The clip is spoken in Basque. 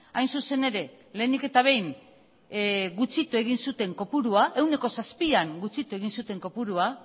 hain zuzen ere lehenik eta behin gutxitu egin zuten kopurua ehuneko zazpian gutxitu egin zuren kopurua